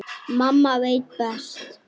Mamma veit best.